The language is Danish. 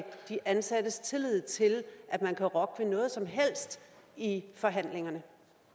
de ansattes tillid til at man kan rokke ved noget som helst i forhandlingerne